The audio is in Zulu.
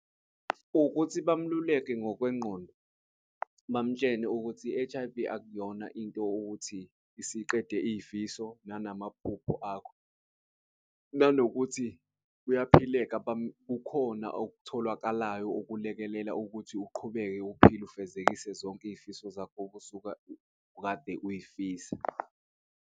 Ukuthi bamluleke ngokwengqondo, bamutshele ukuthi i-H_I_V akuyona into ukuthi isiqede iy'fiso nanamaphupho akho. Nanokuthi kuyaphileka kukhona okutholakalayo okulekelela ukuthi uqhubeke uphile ufezekise zonke iy'fiso zakho okade uyifisa.